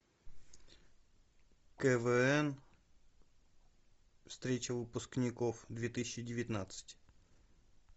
квн встреча выпускников две тысячи девятнадцать